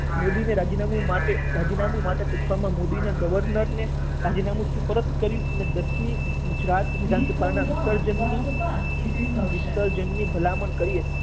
મોદીને રાજીનામું માટે રાજીનામું માટે પૂછવામાં મોદીએ ગવર્નરને રાજીનામું સુપરત કર્યું અને દસ મી ગુજરાત વિધાનસભાનાં વિસર્જનની વિસર્જનની ભલામણ કરી હતી.